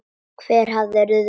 Hver hafði ruðst inn?